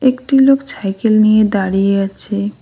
একটি লোক ছাইকেল নিয়ে দাঁড়িয়ে আছে।